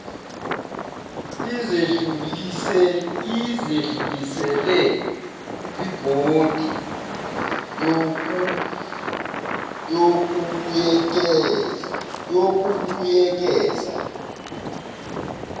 izedlulisele kwibhodi yokubuyekeza